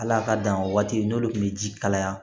Hal'a ka dan o waati n'o de tun bɛ ji kalaya